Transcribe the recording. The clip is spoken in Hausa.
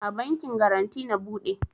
A bankin garanty na bude